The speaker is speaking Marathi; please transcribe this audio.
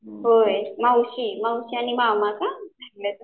होय मावशी मावशी आणि मामा का